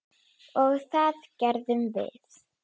Og það gerðum við.